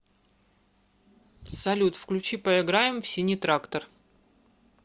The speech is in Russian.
салют включи поиграем в синий трактор